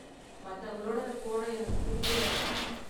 மத்தவங்களோடத போட எனக்கு புடிக்கல.